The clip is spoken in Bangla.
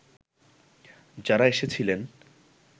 যারা এসেছিলেন